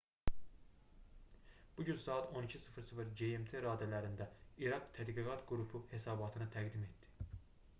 bu gün saat 12:00 gmt raddələrində i̇raq tədqiqat qrupu hesabatını təqdim etdi